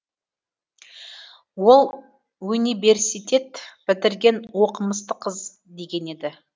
ол өниберситет бітірген оқымысты қыз деген еді